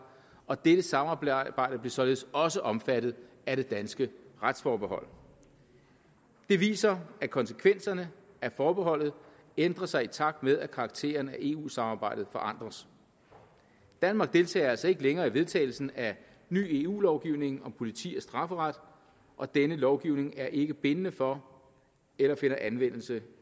og dette samarbejde blev således også omfattet af det danske retsforbehold det viser at konsekvenserne af forbeholdet ændrer sig i takt med at karakteren af eu samarbejdet forandres danmark deltager altså ikke længere i vedtagelsen af ny eu lovgivning om politi og strafferet og denne lovgivning er ikke bindende for eller finder anvendelse